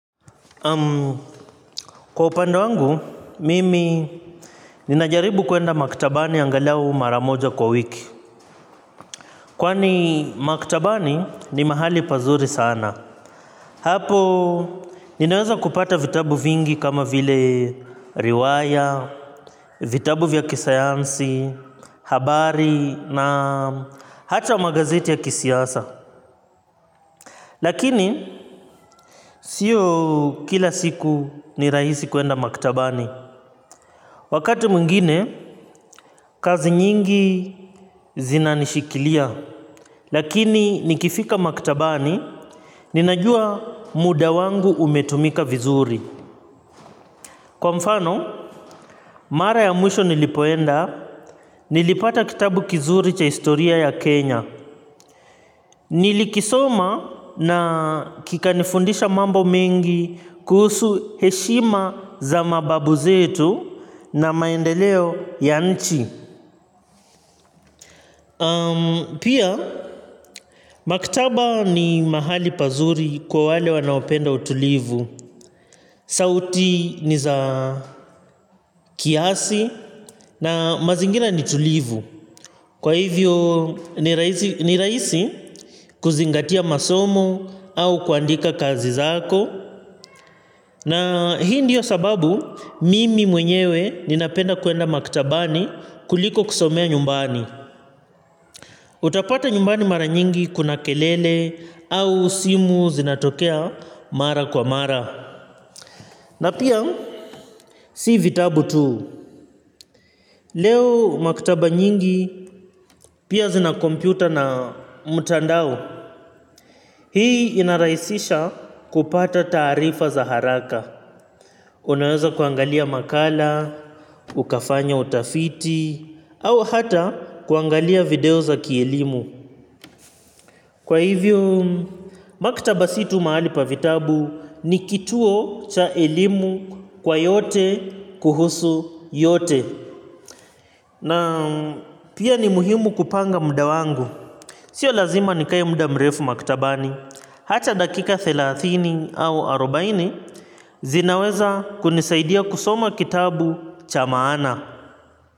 Kwa upande wangu, mimi nina jaribu kwenda maktabani angalau mara moja kwa wiki. Kwani maktabani ni mahali pazuri sana. Hapo, ninaweza kupata vitabu vingi kama vile riwaya, vitabu vya kisayansi, habari na hata magazeti ya kisiasa. Lakini, sio kila siku ni rahisi kuenda maktabani. Wakati mwingine, kazi nyingi zina nishikilia, lakini nikifika maktabani, ninajua muda wangu umetumika vizuri. Kwa mfano, mara ya mwisho nilipoenda, nilipata kitabu kizuri cha historia ya Kenya. Nilikisoma na kikanifundisha mambo mengi kuhusu heshima za mababu zetu na maendeleo ya nchi. Pia, maktaba ni mahali pazuri kwa wale wanaopenda utulivu. Sauti ni za kiasi na mazingira ni tulivu. Kwa hivyo ni rahisi ni rahisi kuzingatia masomo au kuandika kazi zako. Na hii ndiyo sababu mimi mwenyewe ninapenda kwenda maktabani kuliko kusomea nyumbani. Utapata nyumbani mara nyingi kuna kelele au simu zinatokea mara kwa mara. Na pia si vitabu tu. Leo maktaba nyingi pia zina kompyuta na mtandao. Hii inarahisisha kupata taarifa za haraka. Unaweza kuangalia makala, ukafanya utafiti, au hata kuangalia video za kielimu. Kwa hivyo, maktaba sii tu mahali pa vitabu ni kituo cha elimu kwa yote kuhusu yote. Na pia ni muhimu kupanga muda wangu. Sio lazima nikae muda mrefu maktabani. Hata dakika dhelathini au arubaini zinaweza kunisaidia kusoma kitabu cha maana.